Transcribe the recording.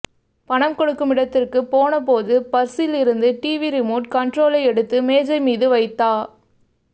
பணம் கொடுக்கும் இடத்திற்கு போன போது பர்ஸில் இருந்து டிவி ரிமோட் கண்ட்ரோலை எடுத்து மேஜை மீது வைத்தா